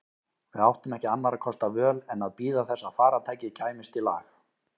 Við áttum ekki annarra kosta völ en að bíða þess að farartækið kæmist í lag.